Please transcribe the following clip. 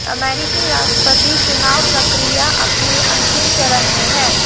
अमेरिकी राष्ट्रपति चुनाव प्रक्रिया अपने अंतिम चरण में है